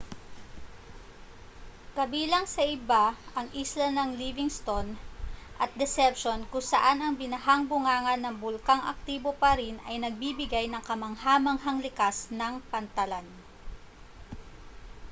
kabilang sa iba ang isla ng livingston at deception kung saan ang binahang bunganga ng bulkang aktibo pa rin ay nagbibigay ng kamangha-manghang likas na pantalan